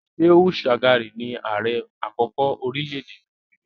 Shehu Shagari ni ààrẹ àkọ́kọ́ orílẹ̀-èdè Nàìjíríà